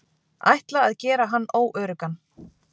Ætla að gera hann óöruggan.